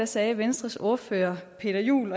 sagde venstres ordfører peter juel